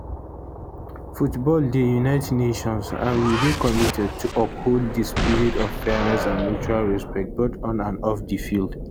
football dey unite nations and we dey committed to uphold di spirit of fairness and mutual respect both on and off di field